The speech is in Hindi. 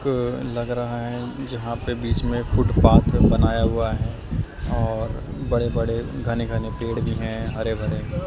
क लग रहा है जहां पे बीच में फुटपाथ बनाया हुआ है और बड़े बड़े घने घने पेड़ भी हैं हरे भरे।